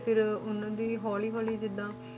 ਤੇ ਫਿਰ ਉਹਨਾਂ ਦੀ ਹੌਲੀ ਹੌਲੀ ਜਿੱਦਾਂ,